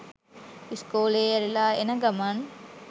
ඉස්කෝලෙ ඇරිලා එන ගමන්